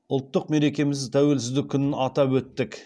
ұлттық мерекеміз тәуелсіздік күнін атап өттік